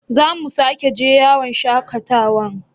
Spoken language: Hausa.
Za mu sake je yawon shakatawan?